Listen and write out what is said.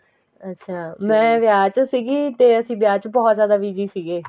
ਅੱਛਾ ਮੈਂ ਵਿਆਹ ਚ ਸੀਗੀ ਤੇ ਅਸੀਂ ਵਿਆਹ ਚ ਬਹੁਤ ਜਿਆਦਾ busy ਸੀਗੇ